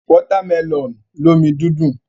Wọ́támẹlọ̀n lómi dídùn.